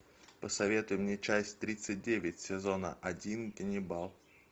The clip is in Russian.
посоветуй мне часть тридцать девять сезона один ганнибал